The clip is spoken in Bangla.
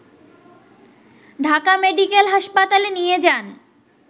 ঢাকা মেডিকেল হাসপাতালে নিয়ে যান